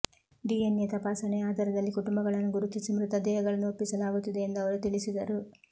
DNA ತಪಾಸಣೆಯ ಆಧಾರದಲ್ಲಿ ಕುಟುಂಬಗಳನ್ನು ಗುರುತಿಸಿ ಮೃತದೇಹಗಳನ್ನು ಒಪ್ಪಿಸಲಾಗುತ್ತಿದೆ ಎಂದು ಅವರು ತಿಳಿಸಿದರು